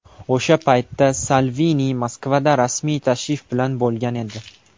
O‘sha paytda Salvini Moskvada rasmiy tashrif bilan bo‘lgan edi.